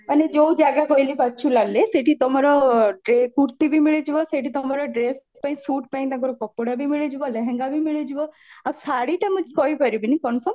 ମାନେ ଯୋଉ ଜାଗା କହିଲି ବାଚୁଲାଲରେ ସେଇଠି ତମର କୁର୍ତି ବି ମିଳିଯିବ ସେଇଠି ତମର ଡ୍ରେସ ପାଇଁ ସୁଟ ତାଙ୍କର କପଡା ବି ମିଳିଯିବ ଲେହେଙ୍ଗା ବି ମିଳିଯିବ ଆଉ ଶାଢୀଟା ମୁଁ କହିପାରିବିନି